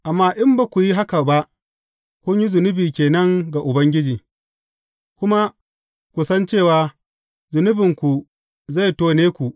Amma in ba ku yi haka ba, kun yi zunubi ke nan ga Ubangiji; kuma ku san cewa zunubinku zai tone ku.